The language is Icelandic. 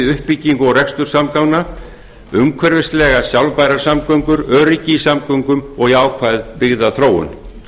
uppbyggingu og rekstur samgangangna umhverfislegar sjálfbærar samgöngur öryggi í samgöngum og jákvæð byggðaþróun